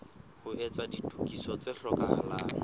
ho etsa ditokiso tse hlokahalang